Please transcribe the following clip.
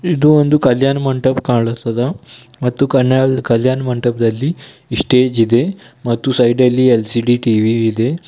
ಇದು ಒಂದು ಕಲ್ಯಾಣ್ ಮಂಟಪ ಕಾಣಿಸ್ತದ ಮತ್ತು ಕಲ್ಯಾ ಕಲ್ಯಾಣ್ ಮಂಟಪದಲ್ಲಿ ಸ್ಟೇಜ್ ಇದೆ ಮತ್ತು ಸೈಡ್ ಅಲ್ಲಿ ಎಲ್_ಸಿ_ಡಿ ಟಿ_ವಿ ಇದೆ.